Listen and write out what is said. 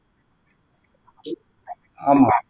ஆமா